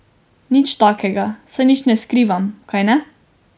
Nič takega, saj nič ne skrivam, kajne.